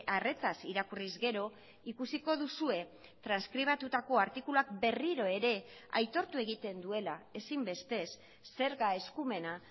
arretaz irakurriz gero ikusiko duzue transkribatutako artikuluak berriro ere aitortu egiten duela ezinbestez zerga eskumena